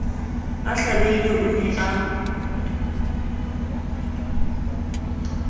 a hlabehile o ne a